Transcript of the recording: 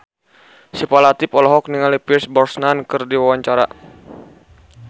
Syifa Latief olohok ningali Pierce Brosnan keur diwawancara